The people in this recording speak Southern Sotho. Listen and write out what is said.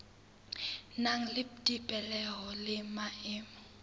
nang le dipehelo le maemo